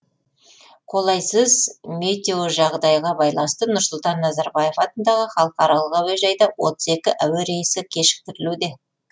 қолайсыз метеожағдайға байланысты нұрсұлтан назарбаев атындағы халықаралық әуежайда отыз екі әуе рейсі кешіктірілуде